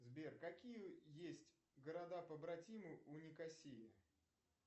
сбер какие есть города побратимы у никосии